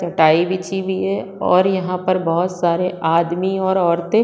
चटाई बिछी हुई है और यहाँ पर बहुत सारे आदमी और औरते--